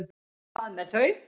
Hvað með þau?